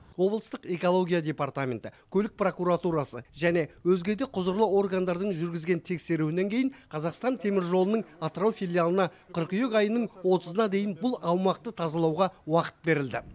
облыстық экология департаменті көлік прокуратурасы және өзге де құзырлы органдардың жүргізген тексеруінен кейін қазақстан темір жолының атырау филиалына қыркүйек айының отызына дейін бұл аумақты тазалауға уақыт берілді